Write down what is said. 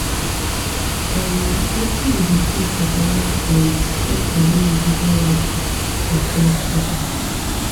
um wetin be di key to balance um share and individual lifestyles in close quarters